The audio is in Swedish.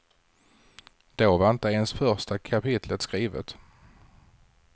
Då var inte ens första kapitlet skrivet.